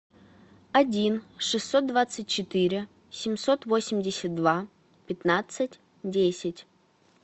один шестьсот двадцать четыре семьсот восемьдесят два пятнадцать десять